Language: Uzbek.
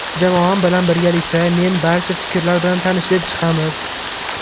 Jamoam bilan birgalikda men barcha fikrlar bilan tanishib chiqamiz.